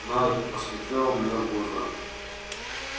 найд посмотрел мне в глаза